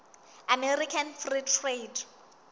american free trade